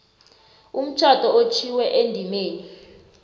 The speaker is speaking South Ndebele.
umtjhado otjhwiwe endimeni